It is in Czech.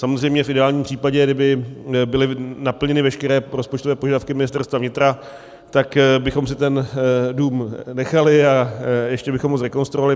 Samozřejmě v ideálním případě, kdyby byly naplněny veškeré rozpočtové požadavky Ministerstva vnitra, tak bychom si ten dům nechali a ještě bychom ho zrekonstruovali.